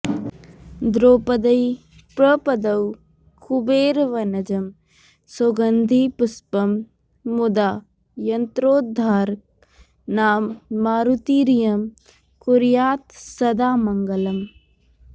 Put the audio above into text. द्रौपद्यै प्रददौ कुबेरवनजं सौगन्धिपुष्पं मुदा यन्त्रोद्धारकनाममारुतिरयं कुर्यात् सदा मङ्गलम्